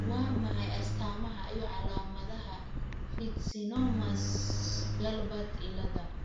Waa maxay astamaha iyo calaamadaha Fitzsimmons Guilbert ciilada?